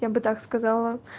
я бы так сказала